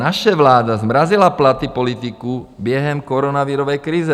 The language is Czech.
Naše vláda zmrazila platy politiků během koronavirové krize.